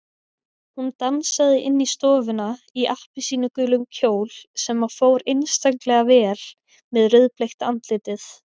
Hún dansaði inn í stofuna í appelsínugulum kjól sem fór einstaklega vel við rauðbleikt andlitið.